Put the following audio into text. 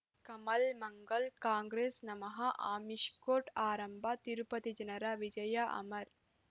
ಕಮಲ್ ಮಂಗಳ್ ಕಾಂಗ್ರೆಸ್ ನಮಃ ಅಮಿಷ್ ಕೋರ್ಟ್ ಆರಂಭ ತಿರುಪತಿ ಜನರ ವಿಜಯ ಅಮರ್